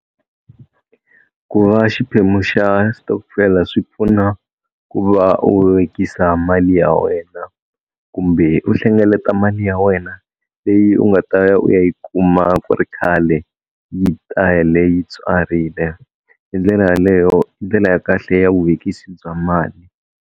Ku va xiphemu xa xitokofela swi pfuna ku va u vekisa mali ya wena kumbe u hlengeleta mali ya wena leyi u nga ta ya u ya yi kuma ku ri khale yi ta ya leyi tswarile hi ndlela yaleyo i ndlela ya kahle ya vuvekisi bya mali.